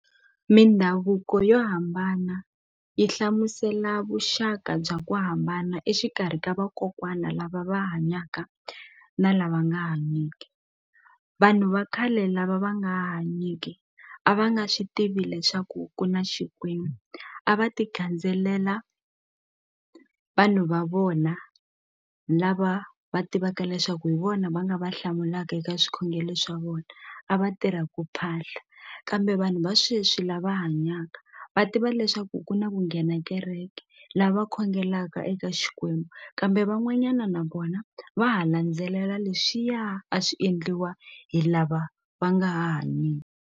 Mindhavuko yo hambana yi hlamusela vuxaka bya ku hambana exikarhi ka vakokwana lava va hanyaka na lava nga hanyeki vanhu va khale lava va nga hanyike a va nga swi tivi leswaku ku na xikwembu a va ti gandzelela vanhu va vona lava va tivaka leswaku hi vona va nga va hlamulaka eka swikhongele swa vona a va tirha ku phahla kambe vanhu va sweswi lava hanyaka va tiva leswaku ku na ku nghena kereke lava khongelaka eka xikwembu kambe van'wanyana na vona va ha landzelela leswiya a swi endliwa hi lava va nga .